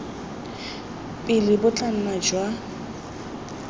pele bo tla nna jwa